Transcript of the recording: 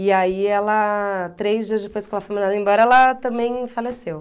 E aí ela... três dias depois que ela foi mandada embora, ela também faleceu.